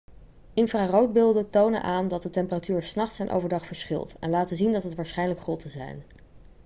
infraroodbeelden tonen aan dat de temperatuur s nachts en overdag verschilt en laten zien dat het waarschijnlijk grotten zijn